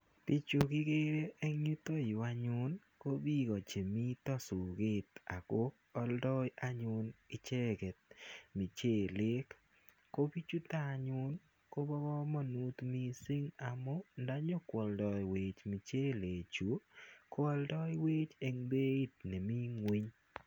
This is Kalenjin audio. Pichu kikere eng' yutayu anyun ko piko che mita soket ako aldai anyun icheget muchelek. Ko pichutok ko pa kamanut missing' amu nda nyuko aldaiwech mchelechu ko aldaiwech eng' peit ne mi ng'uny.